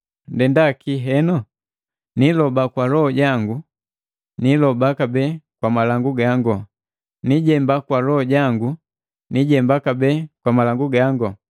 Ndenda kii heno? Niiloba kwa loho jango, niiloba kabee kwa malangu gango, niijemba kwa loho jango, niijemba kabee kwa malangu gango.